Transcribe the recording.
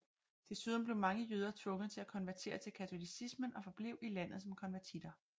Desuden blev mange jøder tvunget til at konvertere til katolicismen og forblev i landet som konvertitter